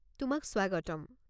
তোমাক স্বাগতম।